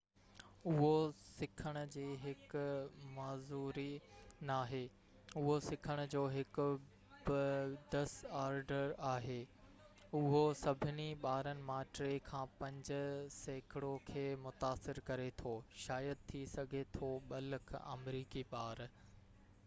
اهو سکڻ جي هڪ معذوري ناهي اهو سکڻ جو هڪ ڊس آرڊر آهي اهو سڀني ٻارن مان 3 کان 5 سيڪڙو کي متاثر ڪري ٿو شايد ٿي سگهي ٿو 2 لک آمريڪي ٻار